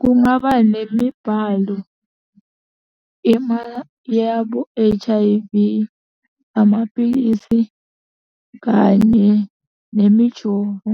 Kungaba nemibhalo, yabo H_I_V, amapilisi kanye nemijovo,